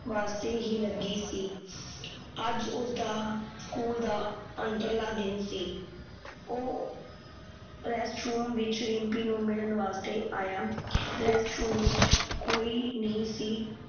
ਵਾਸਤੇ ਹੀ ਲੱਗੀ ਸੀ ਅੱਜ ਉਸਦਾ school ਦਾ ਅੰਤਰਲਾ ਦਿਨ ਸੀ ਉਹ rest room ਵਿਚ ਰਿਮਪੀ ਨੂੰ ਮਿਲਣ ਵਾਸਤੇ ਆਯਾ ਰੈਸਟ ਰੂਮ ਵਿਚ ਕੋਈ ਨਹੀਂ ਸੀ